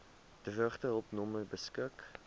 droogtehulp nommer beskik